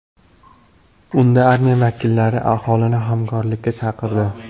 Unda armiya vakillari aholini hamkorlikka chaqirdi.